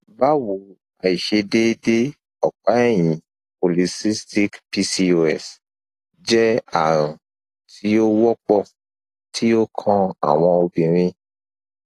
bawo aisedeede ọpaẹyin polycystic pcos jẹ arun ti o wọpọ ti o kan awọn obinrin